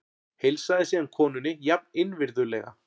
Heilsaði síðan konunni jafn innvirðulega.